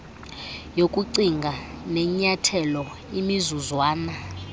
yokucinga nenyathelo imizuzwana